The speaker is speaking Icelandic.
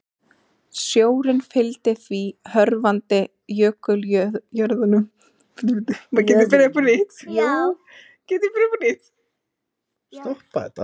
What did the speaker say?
Sjórinn fylgdi því hörfandi jökuljöðrunum og flæddi fyrst yfir landgrunnið og síðan láglendið.